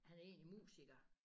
Han er egentlig musiker